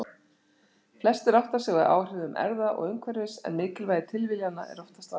Flestir átta sig á áhrifum erfða og umhverfis en mikilvægi tilviljana er oftast vanmetið.